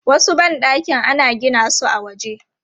Wasu ban ɗakin ana gina su a waje.